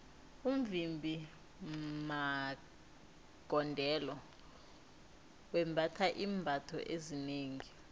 umvimbi magondelo wembatha iimbatho ezinengi